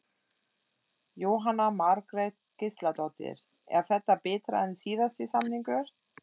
Jóhanna Margrét Gísladóttir: Er þetta betra en síðasti samningur?